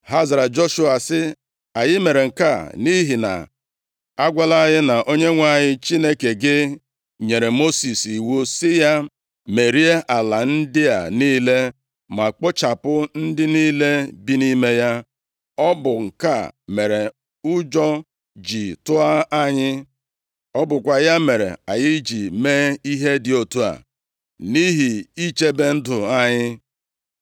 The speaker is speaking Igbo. Ha zara Joshua sị, “Anyị mere nke a nʼihi na agwala anyị na Onyenwe anyị Chineke gị nyere Mosis iwu sị ya merie ala ndị a niile, ma kpochapụ ndị niile bi nʼime ya. Ọ bụ nke a mere ụjọ ji tụọ anyị. Ọ bụkwa ya mere anyị ji mee ihe dị otu a, nʼihi ichebe ndụ anyị.